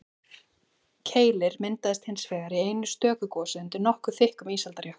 keilir myndaðist hins vegar í einu stöku gosi undir nokkuð þykkum ísaldarjökli